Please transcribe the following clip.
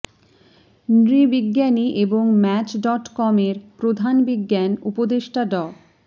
নৃবিজ্ঞানী এবং match dot com এর প্রধান বিজ্ঞান উপদেষ্টা ড